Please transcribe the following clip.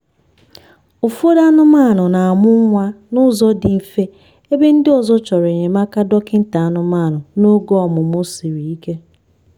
ụfọdụ anụmanụ na-amụ nwa n'ụzọ dị mfe ebe ndị ọzọ chọrọ enyemaka dọkịta anụmanụ n'oge ọmụmụ siri ike.